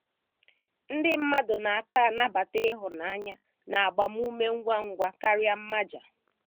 Ndị mmadụ na - aka anabata ịhụnanya na agbamume ngwa ngwa karịa mmaja.